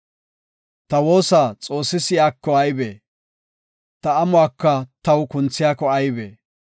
Ta woosa Xoossi si7iyako aybee? Ta amuwaka taw kunthiyako aybee?